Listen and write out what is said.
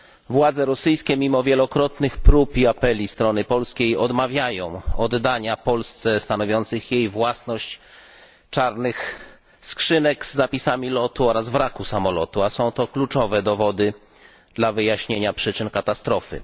Władze rosyjskie, mimo wielokrotnych prób i apeli strony polskiej, odmawiają oddania Polsce stanowiących jej własność czarnych skrzynek z zapisami lotu oraz wraku samolotu, a są to kluczowe dowody dla wyjaśnienia przyczyn katastrofy.